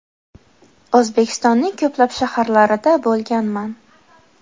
O‘zbekistonning ko‘plab shaharlarida bo‘lganman.